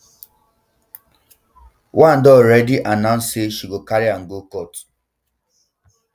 one don already um announce say she go carry am um go court